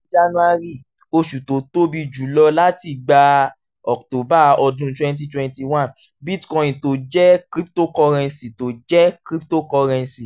january oṣù tó tóbi jùlọ látìgbà october ọdún twenty twenty one bitcoin tó jẹ́ cryptocurrency tó jẹ́ cryptocurrency